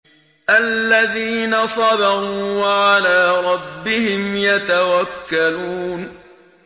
الَّذِينَ صَبَرُوا وَعَلَىٰ رَبِّهِمْ يَتَوَكَّلُونَ